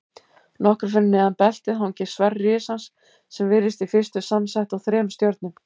Nokkru fyrir neðan beltið hangir sverð risans sem virðist í fyrstu samsett úr þremur stjörnum.